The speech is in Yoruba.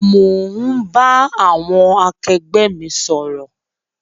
Mo ń bá àwọn akẹgbẹ́ mi sọ̀rọ̀